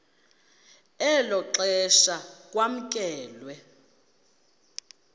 elo xesha kwamkelwe